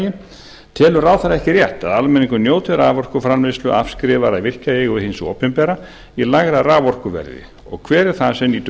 tvö telur ráðherra ekki rétt að almenningur njóti raforkuframleiðslu afskrifaðra virkjana í eigu hins opinbera í lægra raforkuverði og hver er það sem nýtur